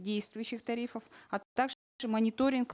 действующих тарифов мониторинг